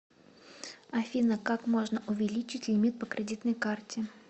афина как можно увеличить лимит по кредитной карте